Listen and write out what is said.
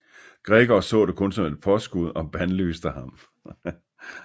Gregor så det kun som et påskud og bandlyste ham